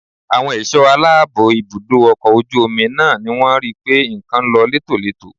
Àwọn ẹ̀ṣọ́ aláàbò ibùdó ọkọ̀ ojú omi náà ni wọ́n rí pé nǹkan lọ létòletò